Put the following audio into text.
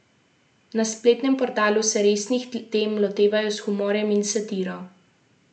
Na spletnem portalu se resnih tem lotevajo s humorjem in satiro.